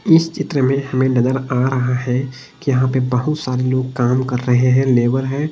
इस चित्र में हमें नजर आ रहा है कि यहां पे बहुत सारे लोग काम कर रहे हैं लेबर है।